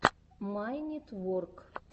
майнитворк